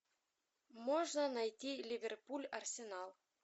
можно найти ливерпуль арсенал